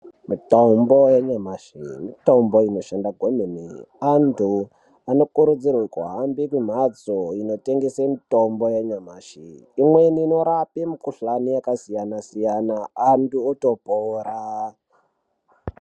Mitombo yanyamashi mitombo inoshanda kwemene anthu anokurudzirwe kuhamba kumbatso inotengese mitombo yanyamashi imweni inorape mikuhlani yakasiyana siyana anthu otopora.